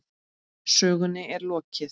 Sögunni er ekki lokið.